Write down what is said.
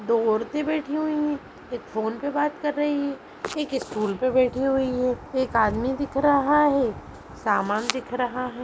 दो औरतें बैठी हुई है एक फोन पे बात कर रही है एक स्टूल पे बैठी हुई है एक आदमी दिख रहा है सामान दिख रहा हैं।